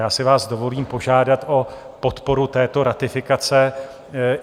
Já si vás dovolím požádat o podporu této ratifikace.